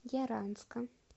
яранска